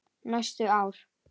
Næstu ár.